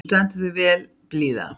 Þú stendur þig vel, Blíða!